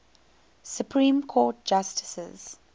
supreme court justices